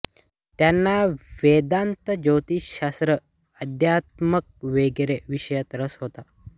त्यांना वेदांत ज्योतिष्यशास्त्र अध्यात्म वगैरे विषयात रस होता